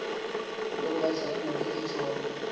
ntombazana beli tshona